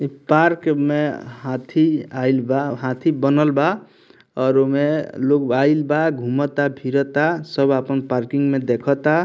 इ पार्क में हाथी आयल बा हाथी बनल बा और उ में आयल बा घूमता फिरता सब अपन पार्किंग में देखाता।